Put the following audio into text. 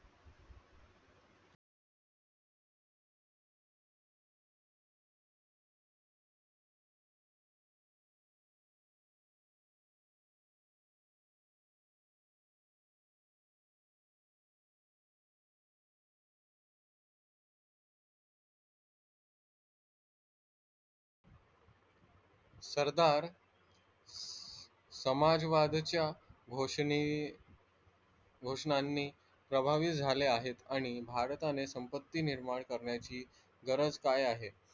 सरदार समाज वादच्या घोसनाणी प्रभावाई झालेत आहे आणि भारताने संपत्ती निर्माण करण्याची गरज काय आहे?